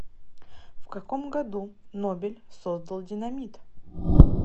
в каком году нобель создал динамит